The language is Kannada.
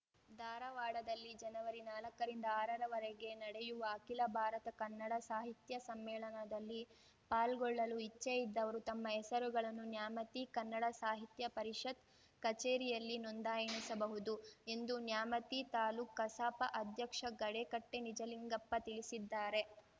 ಧಾರವಾಡದಲ್ಲಿ ಜನವರಿನಾಲಕ್ಕರಿಂದ ಆರ ರವರೆಗೆ ನಡೆಯುವ ಅಖಿಲ ಭಾರತ ಕನ್ನಡ ಸಾಹಿತ್ಯಸಮ್ಮೇಳನದಲ್ಲಿ ಪಾಲ್ಗೊಳ್ಳಲು ಇಚ್ಚೆ ಇದ್ದವರು ತಮ್ಮ ಹೆಸರುಗಳನ್ನು ನ್ಯಾಮತಿ ಕನ್ನಡ ಸಾಹಿತ್ಯ ಪರಿಷತ್‌ ಕಚೇರಿಯಲ್ಲಿ ನೋಂದಾಯಿಸಬಹುದು ಎಂದು ನ್ಯಾಮತಿ ತಾಲೂಕುಕಸಾಪ ಅಧ್ಯಕ್ಷ ಗಡೇಕಟ್ಟೆನಿಜಲಿಂಗಪ್ಪ ತಿಳಿಸಿದ್ದಾರೆ